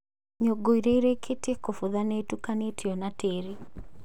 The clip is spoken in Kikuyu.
Nyũngũ ĩrĩa ĩrĩkĩtie kũbutha nĩ ĩtukanĩtio na tĩĩri